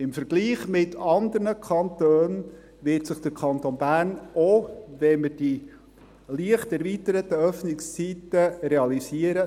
Im Vergleich mit anderen Kantonen wird sich der Kanton Bern nach wie vor im Mittelfeld bewegen, auch wenn wir die leicht erweiterten Öffnungszeiten realisieren.